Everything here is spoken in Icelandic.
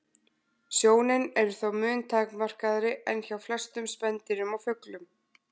Sjónin er þó mun takmarkaðri en hjá flestum spendýrum og fuglum.